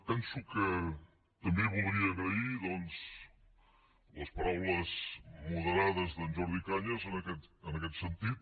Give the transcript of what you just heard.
penso que també voldria agrair doncs les paraules moderades d’en jordi cañas en aquest sentit